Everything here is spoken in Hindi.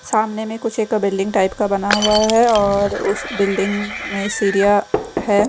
सामने में कुछ एक बिल्डिंग टाइप का बना हुआ है और उस बिल्डिंग में सीढ़ियां है।